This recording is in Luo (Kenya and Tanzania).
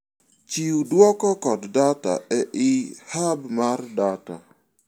Chiw duoko kod data ei hub mar data.